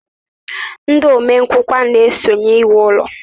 Ndị omenkụkwa na-esonye ewu ulo